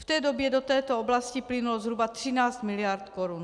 V té době do této oblasti plynulo zhruba 13 mld. korun.